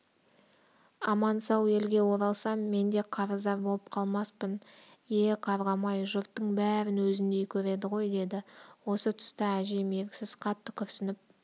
аман-сау елге оралсам мен де қарыздар болып қалмаспын е-е қарғам-ай жұрттың бәрін өзіндей көреді ғой деді осы тұста әжем еріксіз қатты күрсініп